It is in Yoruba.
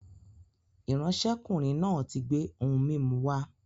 ìránṣẹ́kùnrin náà ti gbé ohun mímu wá